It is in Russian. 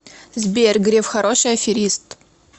сбер греф хороший аферист